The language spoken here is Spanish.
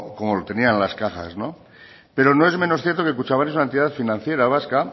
como lo tenían las cajas pero no es menos cierto que kutxabank es la entidad financiera vasca